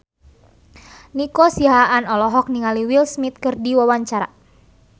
Nico Siahaan olohok ningali Will Smith keur diwawancara